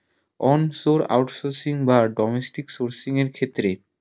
on source out sourcing বা domestic out sourcing এর ক্ষেত্রে